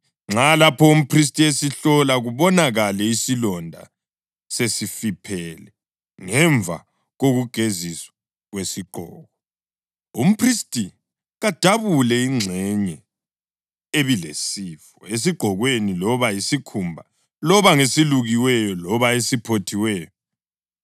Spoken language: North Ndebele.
Nxa, lapho umphristi esihlola, kubonakale isilonda sesifiphele ngemva kokugeziswa kwesigqoko, umphristi kadabule ingxenye ebilesifo esigqokweni loba yisikhumba loba ngeselukiweyo loba esiphothiweyo.